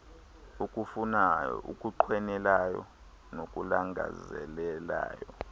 okufunayo okunqwenelayo nokulangazelelayo